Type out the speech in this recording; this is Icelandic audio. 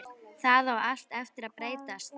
Það á allt eftir að breytast!